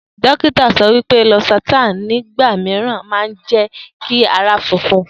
Dokita so wípé Losartan nígbà mìíràn máa njẹ kí ara funfun